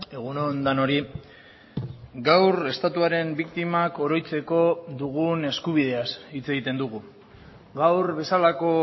egun on denoi gaur estatuaren biktimak oroitzeko dugun eskubideaz hitz egiten dugu gaur bezalako